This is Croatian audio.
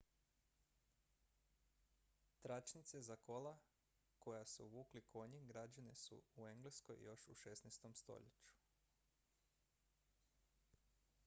tračnice za kola koja su vukli konji građene su u engleskoj još u 16. stoljeću